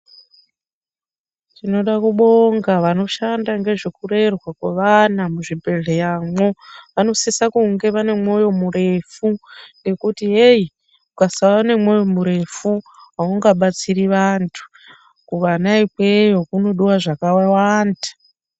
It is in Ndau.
Tinoda kubonga vanoshanda nezvekurerwa kwevana muzvibhedhleramwo vanosisa kunge vane mwoyo murefu nekuti heyi ukasava nemwoyo murefu aungabatsiri vanthu kuvana ikweyo kunodiwe zvakawanda.